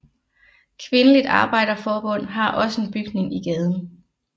Kvindeligt Arbejderforbund har også en bygning i gaden